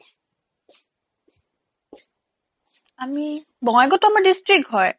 আমি বঙাইগাঁৱতো আমাৰ district হয়